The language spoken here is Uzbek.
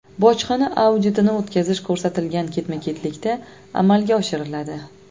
Bojxona auditini o‘tkazish ko‘rsatilgan ketma-ketlikda amalga oshiriladi.